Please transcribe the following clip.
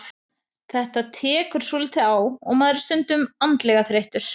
Þetta tekur svolítið á og maður er stundum andlega þreyttur.